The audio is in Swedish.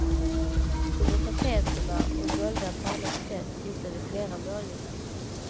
Under tapeterna och dolda på annat sätt hittade vi flera målningar.